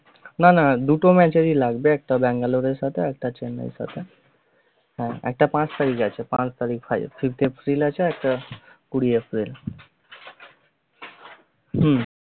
না না দুটো match এরই লাগবে একটা বেঙ্গালোর এর সাথে একটা চেন্নাই এর সাথে। হ্যা একটা পাস তারিখে পাচ্ তারিখ six april আছে একটা কুড়ি april হম